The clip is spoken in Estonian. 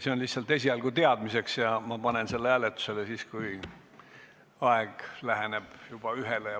See on esialgu öeldud lihtsalt teadmiseks ja ma panen selle hääletusele siis, kui jõuame kella 13-le lähemale.